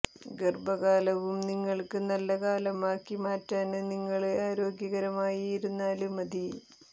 ഗര്ഭകാലവും നിങ്ങള്ക്ക് നല്ല കാലം ആക്കി മാറ്റാന് നിങ്ങള് ആരോഗ്യകരമായി ഇരുന്നാല് മതി